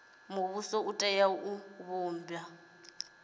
muvhuso u tea u vhumba